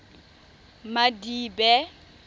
madibe